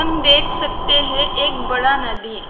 देख सकते हैं एक बड़ा नदी है।